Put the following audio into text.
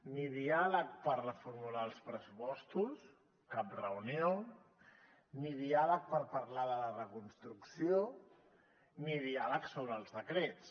ni diàleg per reformular els pressupostos cap reunió ni diàleg per parlar de la reconstrucció ni diàleg sobre els decrets